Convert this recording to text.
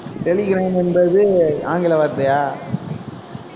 Telegram என்பது ஆங்கில வார்த்தையா